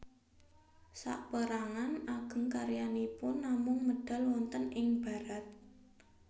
Sapérangan ageng karyanipun namung medal wonten ing Barat